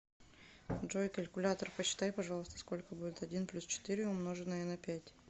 джой калькулятор посчитай пожалуйста сколько будет один плюс четыре умноженное на пять